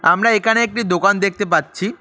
আমরা এখানে একটি দোকান দেখতে পাচ্ছি।